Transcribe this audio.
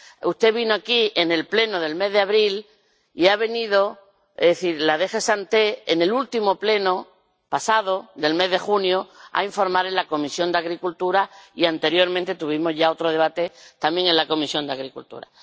usted vino aquí en el Pleno del mes de abril y ha venido, es decir, la DG SANTE, en el último Pleno pasado, del mes de junio, a informar en la Comisión de Agricultura, y anteriormente tuvimos ya otro debate, también en la Comisión de Agricultura.